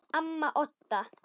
Amma Odda.